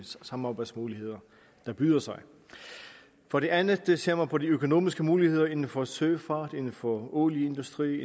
samarbejdsmuligheder der byder sig for det andet ser man på de økonomiske muligheder inden for søfart olieindustri